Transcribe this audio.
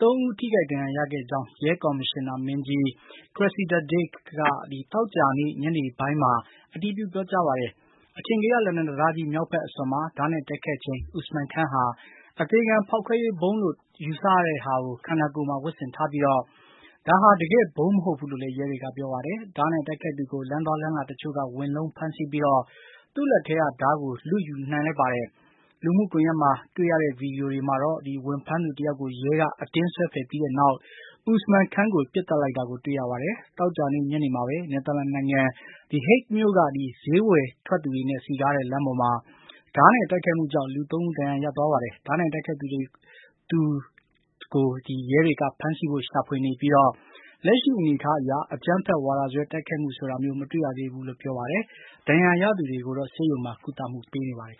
၃ ဦး ထိခိုက်ဒဏ်ရာရတဲ့အကြောင်း ရဲကော်မရှင်နာမင်းကြီး Cressida Dick က သောကြာနေ့ ညနေပိုင်းမှာ အတည်ပြု ပြောကြားပါတယ်။ အထင်ကရ လန်ဒန်တံတားကြီး မြောက်ဘက်အစွန်မှာ ဓားနဲ့တိုက်ခိုက်ချိန် Usman Khan ဟာ အသေခံဖောက်ခွဲရေးဗုံးလို့ ထင်ရတာကို ခန္ဓာကိုယ်မှာ ဝတ်ဆင်ထားပြီး ဒါဟာ တကယ့်ဗုံးမဟုတ်ဘူးလို့လည်း ရဲတွေက ပြောပါတယ်။ ဓားနဲ့တိုက်ခိုက်သူကို လမ်းသွားလမ်းလာတချို့က ဝင်လုံး ဖမ်းဆီးပြီး သူ့လက်ထဲက ဓားကို ယူလိုက်နိုင်ပါတယ်။ လူမှုကွန်ရက်က ဗွီဒီယိုတွေမှာလည်း ဝင်ဖမ်းသူ တယောက်ကို ရဲက အတင်းဆွဲဖယ်ပြီးတဲ့နောက် Usman Khan ကို ပစ်သတ်လိုက်တာကို တွေ့ရပါတယ်။ သောကြာနေ့ ညနေမှာပဲ နယ်သာလန်နိုင်ငံ The Hague မြို့က ဈေးဝယ်ထွက်သူတွေနဲ့ စည်ကားတဲ့ လမ်းပေါ်မှာ ဓားနဲ့တိုက်ခိုက်မှုကြောင့် လူ ၃ ဦး ဒဏ်ရာရသွားပါတယ်။ ဓားနဲ့တိုက်ခိုက်သူတွေကို ရဲတွေက ဖမ်းဆီးဖို့ ရှာဖွေနေပြီး လက်ရှိအနေအထားအရ အကြမ်းဖက်ဝါဒစွဲ တိုက်ခိုက်မှုဆိုတာမျိုး မတွေ့ရသေးဘူးလို့ ပြောပါတယ်။ ဒဏ်ရာရသူတွေကိုတော့ ဆေးရုံမှာ ကုသမှုပေးနေပါတယ်